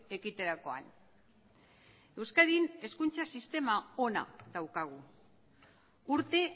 ekiterakoan euskadin hezkuntza sistema ona daukagu urte